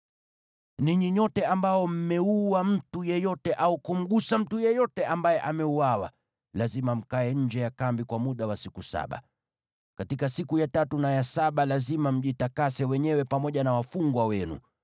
“Ninyi nyote ambao mmeua mtu yeyote au kumgusa mtu yeyote ambaye ameuawa, lazima mkae nje ya kambi kwa muda wa siku saba. Katika siku ya tatu na ya saba lazima mjitakase wenyewe pamoja na wafungwa wenu.